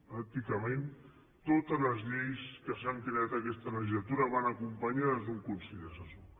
pràcticament totes les lleis que s’han creat aquesta legislatura van acompanyades d’un consell assessor